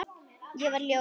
Ég var ljót.